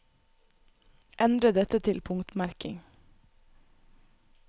Endre dette til punktmerking